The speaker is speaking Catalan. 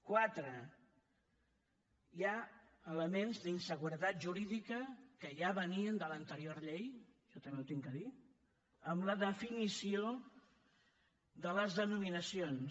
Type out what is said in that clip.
quatre hi ha elements d’inseguretat jurídica que ja venien de l’anterior llei això també ho he de dir amb la definició de les denominacions